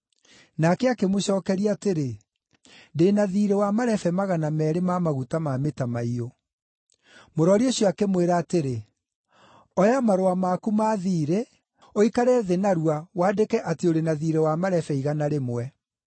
“Nake akĩmũcookeria atĩrĩ, ‘Ndĩ na thiirĩ wa marebe magana meerĩ ma maguta ma mĩtamaiyũ.’ “Mũrori ũcio akĩmwĩra atĩrĩ, ‘Oya marũa maku ma thiirĩ ũikare thĩ narua wandĩke atĩ ũrĩ na thiirĩ wa marebe igana rĩmwe.’